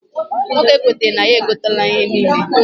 Nwoke kwetara na ya egote ihe a niile.